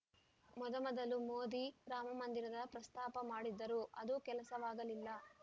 ಮೊದಮೊದಲು ಮೋದಿ ರಾಮ ಮಂದಿರದ ಪ್ರಸ್ತಾಪ ಮಾಡಿದ್ದರು ಅದು ಕೆಲಸವಾಗಲಿಲ್ಲ